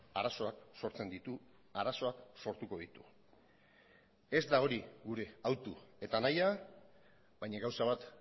arazoak sortzen ditu arazoak sortuko ditu ez da hori gure hautu eta nahia baina gauza bat